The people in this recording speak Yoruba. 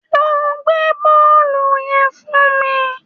Lọ gbé bọ́ọ̀lù yẹn fún mi